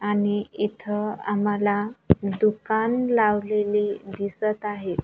आणि इथ आम्हाला दुकान लावलेले दिसत आहे.